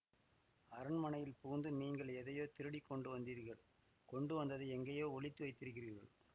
அரண்மனையில் புகுந்து நீங்கள் எதையோ திருடிக் கொண்டு வந்தீர்கள் கொண்டு வந்ததை எங்கேயோ ஒளித்து வைத்திருக்கிறீர்கள்